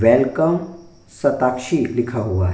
Welcome Shatakshi लिखा हुआ है।